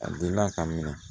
A delila ka minɛ